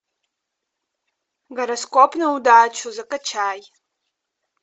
гороскоп на удачу закачай